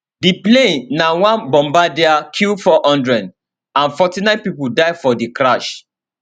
di plane na one bombardier q400 and 49 pipo die for di crash